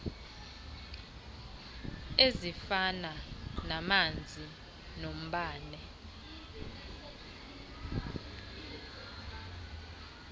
ezifana namanzi nombane